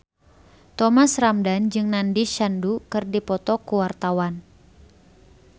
Thomas Ramdhan jeung Nandish Sandhu keur dipoto ku wartawan